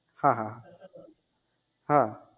હા હા હા